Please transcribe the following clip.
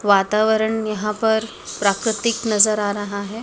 वातावरण यहां पर प्राकृतिक नजर आ रहा है।